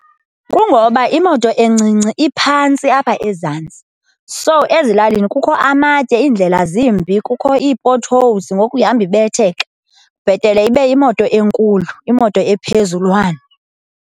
Kungoba imoto encinci iphantsi apha ezantsi. So, ezilalini kukho amatye, iindlela zimbi, kukho ii-potholes ngoku ihambe ibetheka. Bhetele ibe yimoto enkulu, imoto ephezulwana.